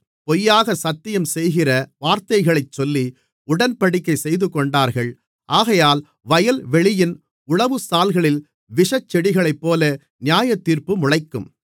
பொய்யாகச் சத்தியம் செய்கிற வார்த்தைகளைச் சொல்லி உடன்படிக்கை செய்துகொண்டார்கள் ஆகையால் வயல்வெளியின் உழவுசால்களில் விஷச் செடிகளைப்போல நியாயத்தீர்ப்பு முளைக்கும்